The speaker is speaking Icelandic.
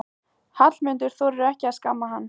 Hallmundur þorir ekki að skamma hann.